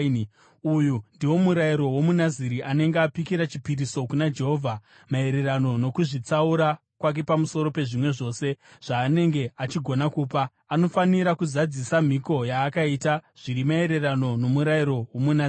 “ ‘Uyu ndiwo murayiro womuNaziri anenge apikira chipiriso kuna Jehovha maererano nokuzvitsaura kwake pamusoro pezvimwe zvose zvaanenge achigona kupa. Anofanira kuzadzisa mhiko yaakaita, zviri maererano nomurayiro womuNaziri.’ ”